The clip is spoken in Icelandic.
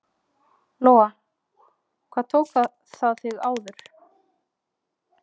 Lóa: Hvað tók það þig áður?